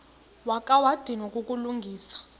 wakha wadinwa kukulungisa